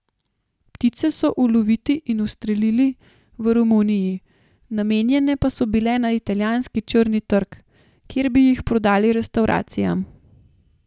Ptice so uloviti in ustrelili v Romuniji, namenjene pa so bile na italijanski črni trg, kjer bi jih prodali restavracijam.